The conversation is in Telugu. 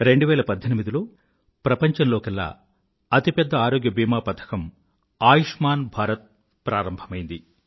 2018లో ప్రపంచంలోకెల్లా అతి పెద్ద ఆరోగ్య భీమా పథకం ఆయుష్మాన్ భారత ప్రారంభమైంది